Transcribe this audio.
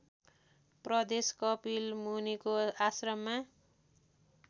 प्रदेश कपिलमुनीको आश्रममा